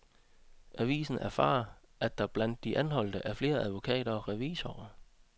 Avisen erfarer, at der blandt de anholdte er flere advokater og revisorer.